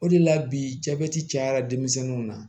O de la bi jabɛti cayara denmisɛnninw na